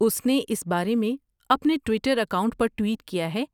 اس نے اس بارے میں اپنے ٹوئٹر اکاؤنٹ پر ٹوئٹ کیا ہے۔